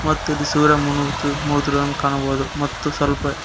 ಮತ್ತು ಇಲ್ಲಿ ಸೂರ್ಯ ಮುನುಗುತ್ತಿ ಮುನುಗುತ್ತಿರುದನ್ನು ಕಾಣಬೋದು ಮತ್ತು ಸ್ವಲ್ಪ--